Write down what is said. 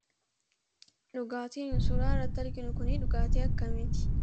Dhugaatiin suuraa irratti arginu kun kan akkamiiti?